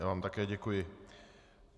Já vám také děkuji.